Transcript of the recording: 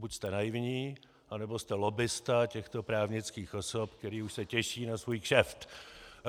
Buď jste naivní, anebo jste lobbista těchto právnických osob, které už se těší na svůj kšeft.